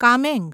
Kameng